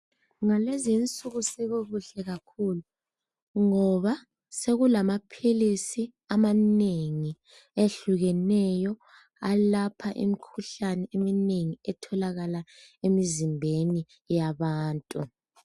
Ngalezinsuku sekukuhle kakhulu ngoba sekulamaphilisi amanengi ehlukeneyo .Alapha imikhuhlane eminengi etholakala emizimbeni yabantu.